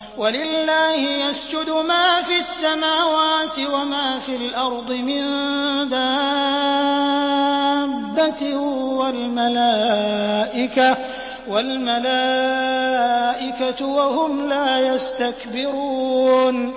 وَلِلَّهِ يَسْجُدُ مَا فِي السَّمَاوَاتِ وَمَا فِي الْأَرْضِ مِن دَابَّةٍ وَالْمَلَائِكَةُ وَهُمْ لَا يَسْتَكْبِرُونَ